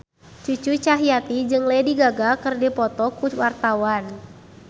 Cucu Cahyati jeung Lady Gaga keur dipoto ku wartawan